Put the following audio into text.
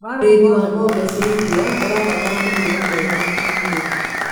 ũrĩithi wa ng'ombe cia iria ũrabatara mũrĩre mwega mũũkĩnyanĩru